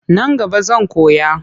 Nan gaba zan koya.